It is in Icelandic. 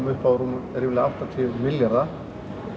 upp á ríflega áttatíu milljarða